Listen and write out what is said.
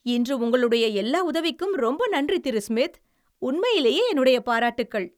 இன்று உங்களுடைய எல்லா உதவிக்கும் ரொம்ப நன்றி, திரு. ஸ்மித். உண்மையிலேயே என்னுடைய பாராட்டுக்கள்!